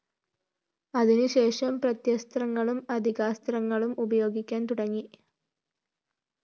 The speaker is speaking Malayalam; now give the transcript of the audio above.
അതിനുശേഷം പ്രത്യസ്ത്രങ്ങളും അതികാസ്ത്രങ്ങളും പ്രയോഗിക്കാന്‍ തുടങ്ങി